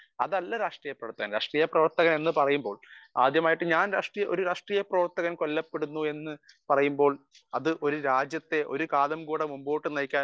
speaker 1 അതല്ല രാഷ്ട്രീയ പ്രവർത്തകൻ രാഷ്ട്രീയ പ്രവർത്തകൻ എന്ന് പറയുമ്പോൾ ആദ്യമായിട്ട് ഞാൻ , ഒരു രാഷ്ട്രീയ പ്രവർത്തകൻ കൊല്ലപ്പെടുന്നു എന്ന് പറയുമ്പോൾ അത് ഒരു രാജ്യത്തെ ഒരു കാലം കൂടെ മുന്നോട്ട് നയിക്കാൻ